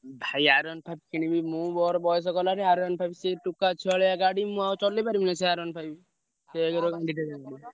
ଭାଇ କିଣିବି ମୁଁ ମୋର ବୟସ ଗଲାଣି ସିଏ ଟୋକା ଛୁଆଳିଆ ଗାଡି ମୁଁ ଆଉ ଚଲେଇପାରିବିନା ।